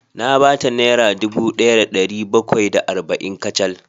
Na ba ta naira dubu daya da dari bakwai da arba’in kacal